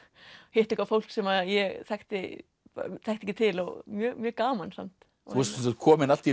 hitta eitthvað fólk sem ég þekkti ekki til mjög gaman samt þú varst sem sagt komin allt